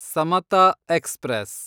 Samata express